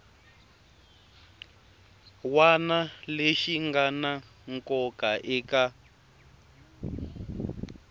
wana lexi ngana nkoka eka